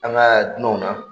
An kaa dunanw na